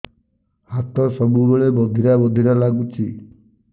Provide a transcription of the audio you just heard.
ହାତ ସବୁବେଳେ ବଧିରା ବଧିରା ଲାଗୁଚି